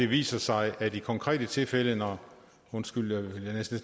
viser sig at i konkrete tilfælde hvor undskyld jeg havde